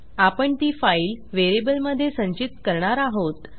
आपण ती फाईल व्हेरिएबलमधे संचित करणार आहोत